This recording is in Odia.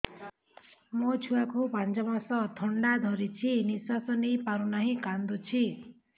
ମୋ ଛୁଆକୁ ପାଞ୍ଚ ମାସ ଥଣ୍ଡା ଧରିଛି ନିଶ୍ୱାସ ନେଇ ପାରୁ ନାହିଁ କାଂଦୁଛି